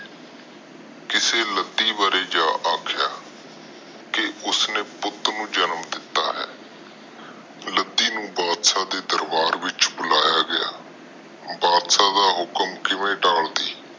ਕਿਸੇ ਲੱਦੀ ਕਿ ਉਸ ਨੇ ਪੁੱਟ ਨੂੰ ਜਨਮ ਦਿਤਾ ਆ ਲਾਡੀ ਨੂੰ ਬਾਦਸ਼ਾਹ ਦੇ ਦਰਬਾਰ ਵਿਚ ਬੁਲਿਆਂ ਆ ਬਾਦਸ਼ਾਹ ਦਾ ਹੁਕਮ ਕਿਵੇਂ ਤਾਲਦੀ